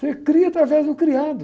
Você cria através do criado.